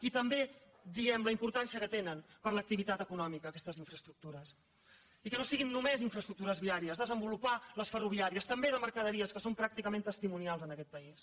i també diem la importància que tenen per a l’activitat econòmica aquestes infraestructures i que no siguin només infraestructures viàries desenvolupar les ferroviàries també de mercaderies que són pràcticament testimonials en aquest país